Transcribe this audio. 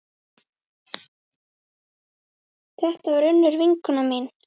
Þetta var Unnur vinkona mín.